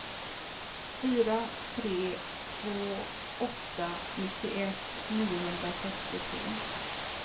fyra tre två åtta nittioett niohundrasextiotre